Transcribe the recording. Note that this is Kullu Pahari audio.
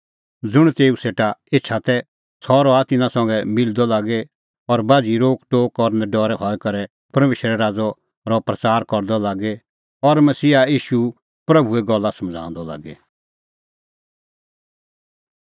ज़ुंण तेऊ सेटा एछा तै सह रहअ तिन्नां संघै मिलदअ लागी और बाझ़ी रोकटोक और नडरै हई करै परमेशरे राज़ो रहअ प्रच़ार करदअ लागी और मसीहा ईशू प्रभूए गल्ला सखाऊंदअ लागी